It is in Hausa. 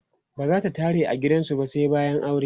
bazata tare a gidan sa ba sai bayan aure